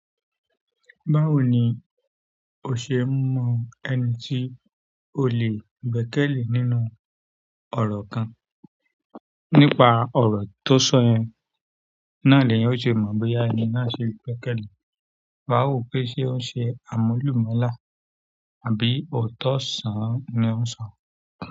Báwo ni o ṣe mọ ẹni tí o lè gbẹ́kẹ̀lé nínú ọ̀rọ̀ kan? Nípa ọ̀rọ̀ tó sọ yẹn, náà ni èyàn yóò ṣe mọ̀ bóyá ẹni náà ṣe e gbẹ́kẹ̀lé, wà á wò ó pé ṣé ó ń ṣe àmúlùmálà àbí òótọ́ sàn—án ni ó ń sọ.